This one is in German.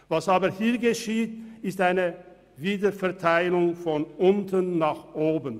Was aber hier geschieht, ist eine Wiederverteilung von unten nach oben.